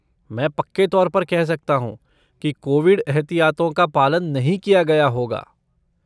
मैं पक्के तौर पर कह सकता हूँ कि कोविड एहतियातों का पालन नहीं किया गया होगा।